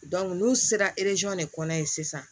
n'u sera de kɔnɔ yen sisan